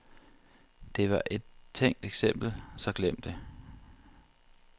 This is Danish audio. Det var et tænkt eksempel, så glem det.